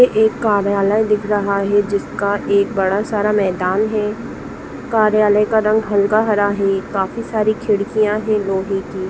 एक कार्यालय दिख रहा है जिसका एक बड़ा सारा मैदान है। कार्यालय का रंग हल्का हरा है। काफी सारी खिड़कियाँ हैं लोहे की।